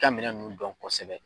ka minɛn nun dɔn kosɛbɛ.